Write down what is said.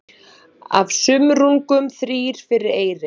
Af sumrungum þrír fyrir eyri.